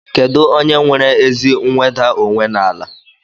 Kedụ onye nwere ezi nweda onwe n'ala?